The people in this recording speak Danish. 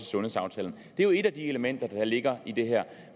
sundhedsaftalen det er jo et af de elementer der ligger i det her